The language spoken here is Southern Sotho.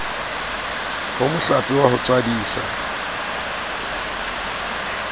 ho mohlape wa ho tswadisa